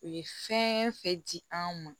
U ye fɛn fɛn di an ma